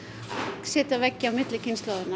setja veggi á milli kynslóðanna